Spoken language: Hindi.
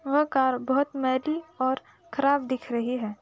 वह कार बहुत मैली और खराब दिख रही है।